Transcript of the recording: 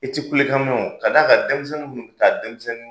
I tɛ kulekan mɛn o, ka d'a kan denmisɛnnin ka denmisɛnnin